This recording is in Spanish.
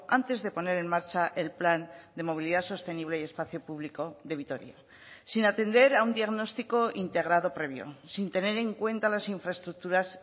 antes de poner en marcha el plan de movilidad sostenible y espacio público de vitoria sin atender a un diagnóstico integrado previo sin tener en cuenta las infraestructuras